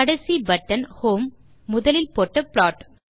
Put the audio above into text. கடைசி button home முதலில் போட்ட ப்ளாட்